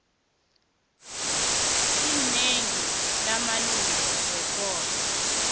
inengi lamalunga wekoro